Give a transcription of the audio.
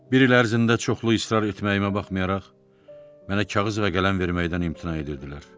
Bir il ərzində çoxlu israr etməyimə baxmayaraq, mənə kağız və qələm verməkdən imtina edirdilər.